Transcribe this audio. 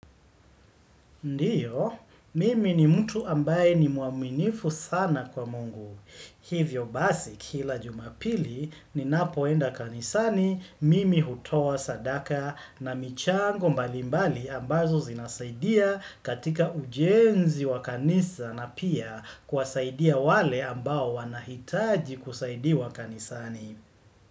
Ndio, mimi ni mtu ambaye ni mwaminifu sana kwa Mungu. Hivyo basi kila jumapili ninapoenda kanisani, mimi hutoa sadaka na michango mbali mbali ambazo zinasaidia katika ujenzi wa kanisa na pia kuwasaidia wale ambao wanahitaji kusaidiwa kanisani.